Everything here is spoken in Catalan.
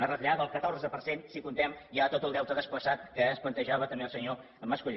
una retallada del catorze per cent si comptem ja tot el deute desplaçat que es plantejava també el senyor mas colell